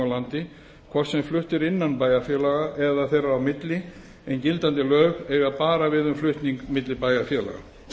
landi hvort sem flutt er innan bæjarfélaga eða þeirra á milli en gildandi lög eiga bara við um flutning milli bæjarfélaga